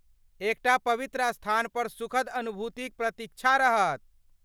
एकटा पवित्र स्थानपर सुखद अनुभूतिक प्रतीक्षा रहत।